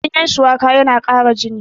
ganyen shuwaka yana ƙara jini